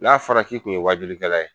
N'a fara k'i tun ye waajulikɛla ye